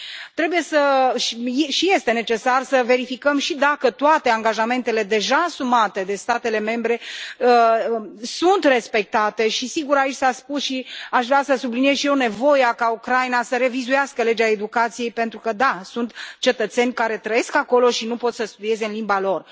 Trebuie și este necesar să verificăm și dacă toate angajamentele deja asumate de statele membre sunt respectate și, sigur, aici s a spus și aș vrea să subliniez și eu nevoia ca Ucraina să revizuiască legea educației pentru că da, sunt cetățeni care trăiesc acolo și nu pot să studieze în limba lor.